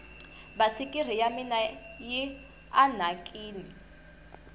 basikiri ya mina yi anhakini